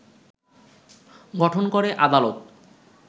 গঠন করে আদালত